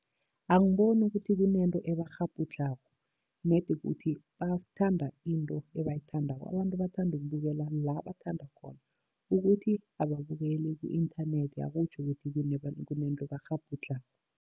Angiboni ukuthi kunento ebakghabhudlhako, nedi kukuthi bathanda into ebayithandako. Abantu bathanda ukubukela la bathanda khona, ukuthi ababukeli ku-inthanethi akutjho ukuthi kunento ebakghabhudlhako.